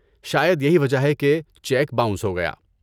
شاید یہی وجہ ہے کہ چیک باؤنس ہوگیا۔